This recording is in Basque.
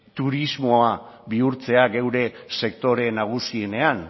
turismoa bihurtzea gure sektore nagusienean